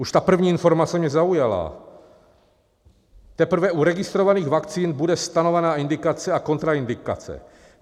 Už tam první informace mě zaujala: "Teprve u registrovaných vakcín bude stanovena indikace a kontraindikace.